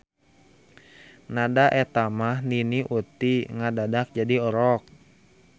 Na da etamah Nini Uti ngadadak jadi orok.